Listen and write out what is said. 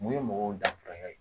Mun ye mɔgɔw danfara ye